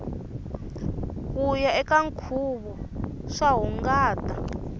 kuya eka nkhuvo swa hungata